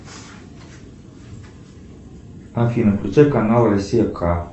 афина включай канал россия к